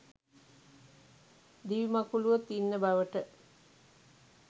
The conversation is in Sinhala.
දිවිමකුලූවොත් ඉන්න බවට